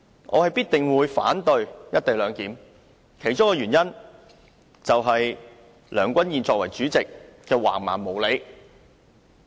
我必定會反對實施"一地兩檢"，其中一個原因，就是梁君彥議員作為主席的橫蠻無理。